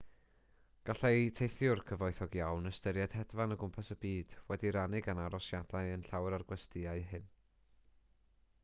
gallai teithiwr cyfoethog iawn ystyried hedfan o gwmpas y byd wedi'i rannu gan arosiadau yn llawer o'r gwestyau hyn